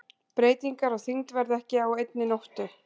Breytingar á þyngd verða ekki á einni nóttu.